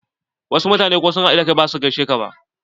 Wasu mutanen ko sun haɗu da kai ba za su gaishe ka ba.